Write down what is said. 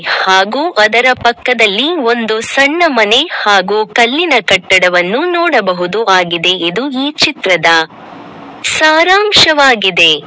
ಹಾಗು ಅದರ ಪಕ್ಕದಲ್ಲಿ ಒಂದು ಸಣ್ಣ ಮನೆ ಹಾಗು ಕಲ್ಲಿನ ಕಟ್ಟಡವನ್ನು ನೋಡಬಹುದು ಆಗಿದೆ ಇದು ಈ ಚಿತ್ರದ ಸಾರಾಂಶವಾಗಿದೆ.